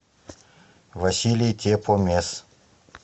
василий тепомес